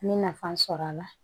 N bɛ nafa sɔrɔ a la